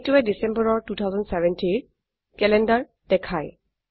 এইটোৱে ডিসেম্বৰৰ 2070ৰ ক্যালেন্ডাৰ দেখায়